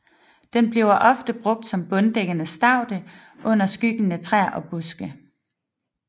Den bliver ofte brugt som bunddækkende staude under skyggende træer og buske